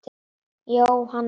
Jóhanna Lind.